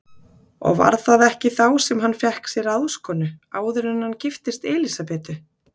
Og var það ekki þá sem hann fékk sér ráðskonu, áður en hann giftist Elísabetu?